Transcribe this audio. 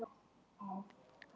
Ástæðurnar eru tvíþættar.